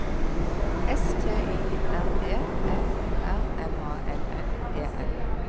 S T Y R E F O R M A N N E N